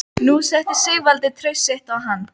Nú setti Sigvaldi traust sitt á hann.